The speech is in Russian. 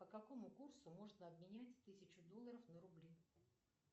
по какому курсу можно обменять тысячу долларов на рубли